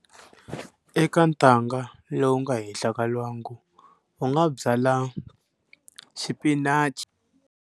Eka ntanga lowu nga henhla ka lwangu u nga byala xipinachi.